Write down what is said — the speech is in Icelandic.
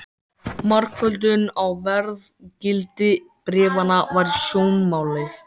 Blaðamaður: Er ekkert til í þessu?